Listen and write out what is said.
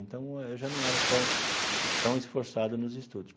Então num, eu já não era tão tão esforçado nos estudos.